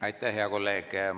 Aitäh, hea kolleeg!